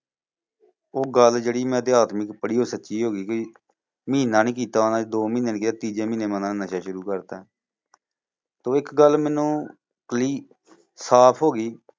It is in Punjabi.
ਉਹ ਗੱਲ ਜਿਹੜੀ ਮੈਂ ਇਤਿਹਾਸ ਵਿੱਚ ਪੜ੍ਹੀ ਸੀ ਉਹ ਸੱਚੀ ਹੋ ਗਈ ਸੀ ਕਿ ਮਹੀਨਾ ਨੀ ਕੀਤਾ ਹੋਣਾ ਦੋ ਮਹੀਨੇ ਲੰਘੇ ਤੀਜੇ ਮਹੀਨੇ ਨਸ਼ਾ ਸ਼ੁਰੂ ਕਰਤਾ ਓਦੋਂ ਇੱਕ ਗੱਲ ਮੈਨੂੰ clue ਸਾਫ਼ ਹੋ ਗਈ